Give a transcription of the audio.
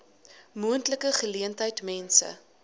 moontlike geleentheid mense